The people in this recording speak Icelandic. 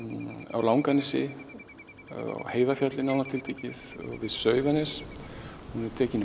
á Langanesi nánar tiltekið við Sauðanes hún er tekin